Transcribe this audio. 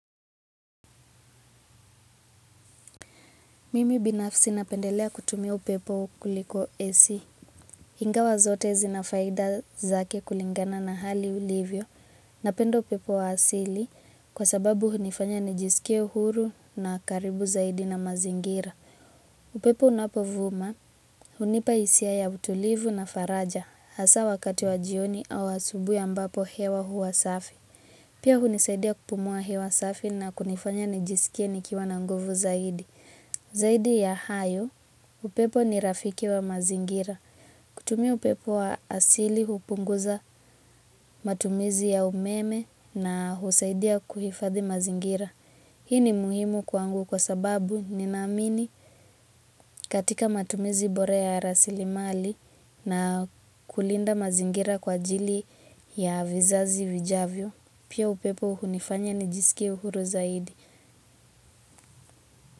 Mimi binafsi napendelea kutumia upepo ukuliko ac. Ingawa zote zinafaida zake kulingana na hali ilivyo. Napenda upepo wa asili kwa sababu hunifanya nijisikie uhuru na karibu zaidi na mazingira. Upepo unapovuma hunipa hisia ya utulivu na faraja. Hasa wakati wa jioni au asubuhi ambapo hewa huwa safi. Pia hunisaidia kupumua hewa safi na kunifanya nijisikie nikiwa na nguvu zaidi. Zaidi ya hayo, upepo ni rafiki wa mazingira. Kutumia upepo wa asili hupunguza matumizi ya umeme na husaidia kuhifadhi mazingira. Hii ni muhimu kwangu kwa sababu ni naamini katika matumizi bora ya rasilimali na kulinda mazingira kwa ajili ya vizazi vijavyo. Pia upepo hunifanya ni jisikie uhuru zaidi.